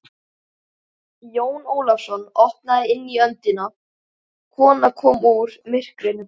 Jón Ólafsson opnaði inn í öndina, kona kom úr myrkrinu.